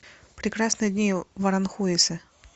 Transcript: прекрасные дни в аранхуэсе